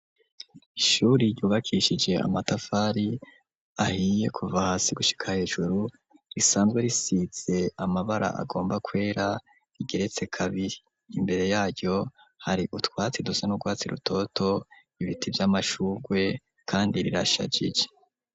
Ishure ryubakishije amatafari ahiye kuva hasi gushika hejuru, risanzwe risize amabara agomba kwera, rigeretse kabiri. Imbere yaryo hari utwatsi dusa n'urwatsi rutoto, ibiti vy'amashugwe kandi rirashajije.